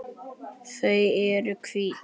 Þau eru hvít.